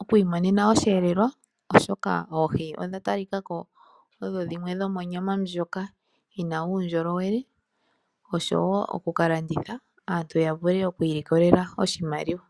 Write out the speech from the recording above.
oku imonena osheelelwa, oshoka oohi odha talika ko odho dhimwe dhomonyama ndjoka yi na uundjolowele oshowo oku ka landitha aantu ya vule oku ilikolela oshimaliwa.